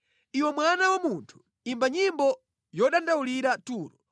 “Iwe mwana wa munthu, imba nyimbo yodandaulira Turo.